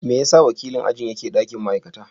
Me yasa wakilin ajin yake ɗakin ma'aikata?